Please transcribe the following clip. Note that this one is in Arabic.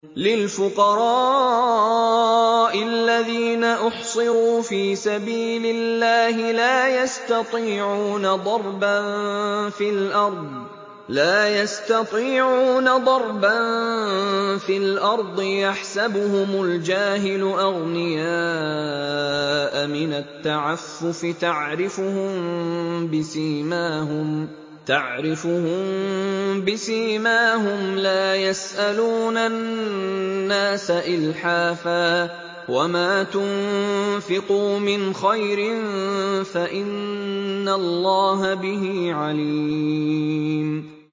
لِلْفُقَرَاءِ الَّذِينَ أُحْصِرُوا فِي سَبِيلِ اللَّهِ لَا يَسْتَطِيعُونَ ضَرْبًا فِي الْأَرْضِ يَحْسَبُهُمُ الْجَاهِلُ أَغْنِيَاءَ مِنَ التَّعَفُّفِ تَعْرِفُهُم بِسِيمَاهُمْ لَا يَسْأَلُونَ النَّاسَ إِلْحَافًا ۗ وَمَا تُنفِقُوا مِنْ خَيْرٍ فَإِنَّ اللَّهَ بِهِ عَلِيمٌ